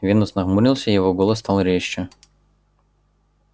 венус нахмурился и голос его стал резче